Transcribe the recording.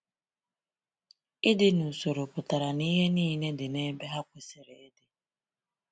Ịdị n’usoro pụtara na ihe niile dị n’ebe ha kwesiri ịdị.